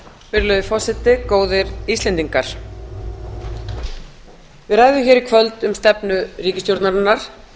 virðulegi forseti góðir íslendingar við ræðum hér í kvöld um stefnu ríkisstjórnarinnar